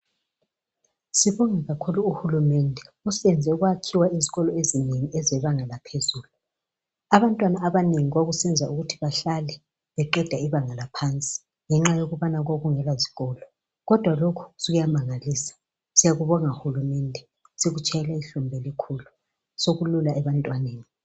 Sibonge kakhulu uhulumende osenze kwakhiwa izikolo ezinengi ezebanga laphezulu. Abantwana abanengi babesenza ukuthi bahlale beqeda ibanga laphansi ngenxa yokubana kwakungelazikolo. Kodwa lokhu kuyamangalisa. Siyakubonga hulumende. Sikutshayela ihlombe elikhulu. Sekulula ebantwaneni.